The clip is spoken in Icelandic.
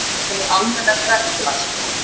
Það verði almennt verklag.